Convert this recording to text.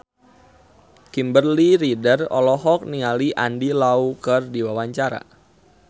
Kimberly Ryder olohok ningali Andy Lau keur diwawancara